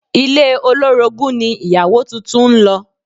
Ilé olórogún ni ìyàwó tuntun ń lọ